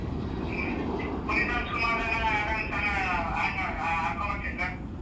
ಹ್ಮ್, ಪುನೀತ್ ರಾಜ್ಕುಮಾರನ ಯಾವುದಾದ್ರೊನ್ದು song ಆ ಹಾಡ್ ಮಾಡಣ ಹಾಕೋ ಬಾ ಚೈತ್ರ.